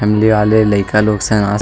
family वाले लइका लोग सन आस --